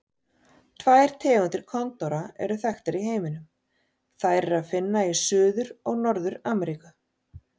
Tvær tegundir kondóra eru þekktar í heiminum, þær er að finna í Suður- og Norður-Ameríku.